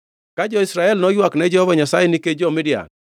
Ka jo-Israel noywak ne Jehova Nyasaye nikech jo-Midian,